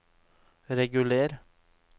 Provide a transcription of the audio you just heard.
reguler